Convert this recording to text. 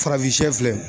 Farafin filɛ